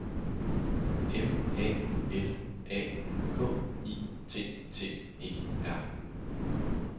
M A L A K I T T E R